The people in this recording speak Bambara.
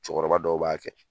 Cɛkɔrɔba dɔw b'a kɛ